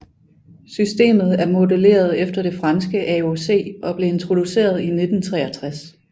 Systemet er modelleret efter det franske AOC og blev introduceret i 1963